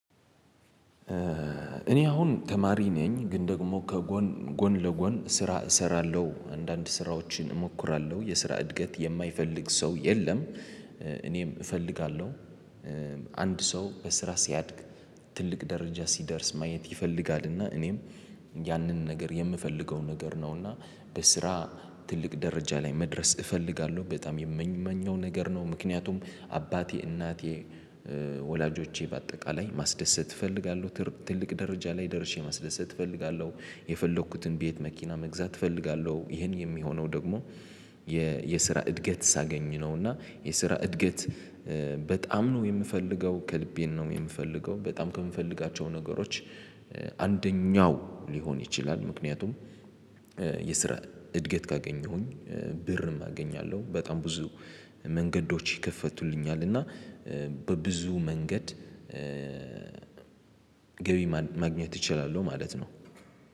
እኔ አሁን ተማሪ ነኝ ግን ደግሞ ከጎን ጎን ለጎን ስራ እሰራለሁ አንዳንድ ስራዎችን እሞክራለሁ የስራ እድገት የማይፈልግ ሰው የለም እኔም እፈልጋለሁ። አንድ ሰው በስራ ሲያድግ። ትልቅ ደረጃ ሲደርስ ማየት ይፈልጋልና እኔም ያንን ነገር የምፈልገው ነገር ነውና። በስራ ትልቅ ደረጃ ላይ መድረስ እፈልጋለሁ በጣም የምመኘው ነገር ነው። ምክንያቱም አባቴ እናቴ ወላጆቼ በአጠቃላይ ማስደሰት እፈልጋለሁ ትልቅ ደረጃ ላይ ደርሼ ማስደሰት እፈልጋለሁ። የፈለኩትን ቤት መኪና መግዛት እፈልጋለሁ ይሄን የሚሆነው ደግሞ የስራ እድገት ሳገኝ ነው። እና የስራ እድገት በጣም ነው የምፈልገው ከልቤን ነው የምፈልገው በጣም ከምፈልጋቸው ነገሮች። አንደኛው ሊሆን ይችላል ምክንያቱም የስራ እድገት ካገኘሁኝ ብርም አገኛለሁ በጣም ብዙ መንገዶች ይከፈቱልኛል። እና በብዙ መንገድ ገቢ ማግኘት እችላለሁ ማለት ነው